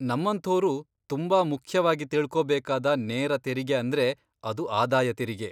ನಮ್ಮಂಥೋರು ತುಂಬಾ ಮುಖ್ಯವಾಗಿ ತಿಳ್ಕೊಬೇಕಾದ ನೇರ ತೆರಿಗೆ ಅಂದ್ರೆ ಅದು ಆದಾಯ ತೆರಿಗೆ.